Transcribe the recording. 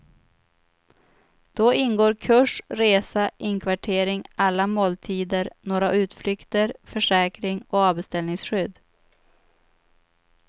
Då ingår kurs, resa, inkvartering, alla måltider, några utflykter, försäkring och avbeställningsskydd.